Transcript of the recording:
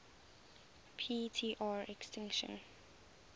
p tr extinction